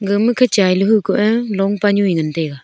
gaga ma chai ley hu koh ley long pa nu e ngan taiga.